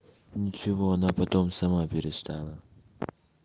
ничего она потом сама перестала